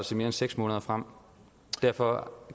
se mere end seks måneder frem derfor